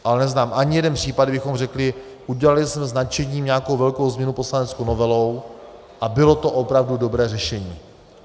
Ale neznám ani jeden případ, kdy bychom řekli: udělali jsme s nadšením nějakou velkou změnu poslaneckou novelou a bylo to opravdu dobré řešení.